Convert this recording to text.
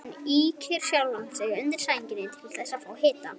Hann ýkir skjálftann undir sænginni til að fá í sig hita.